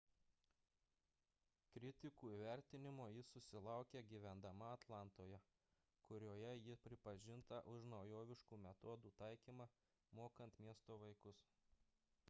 kritikų įvertinimo ji susilaukė gyvendama atlantoje kurioje ji pripažinta už naujoviškų metodų taikymą mokant miesto vaikus